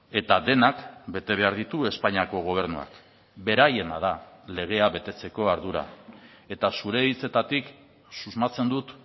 eta denak bete behar ditu espainiako gobernuak beraiena da legea betetzeko ardura eta zure hitzetatik susmatzen dut